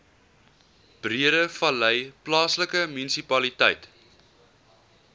breedevallei plaaslike munisipaliteit